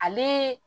Ale